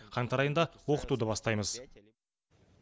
қаңтар айында оқытуды бастаймыз